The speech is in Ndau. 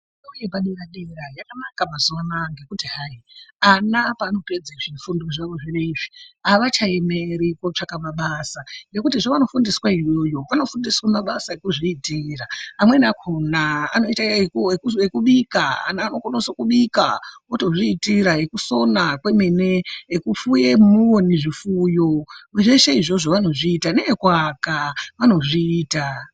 Fundo yepadera dera yakanaka mazuwana ngekuti hayi ana panopedze zvifundo zvavo zvinezvi avachaemeri kotsvaka mabasa ngekuti zvavanofundiswa iyoyo vanofundiswa mabasa ekuzvitira amweni akona anoite ekubika, anokone kubika otozvitira ,ekusona kwemene ,ekufuya onini zvifuyo zveshe izvizvo vanozviita nekuaka vanozviita.